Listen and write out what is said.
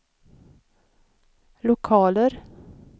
lokaler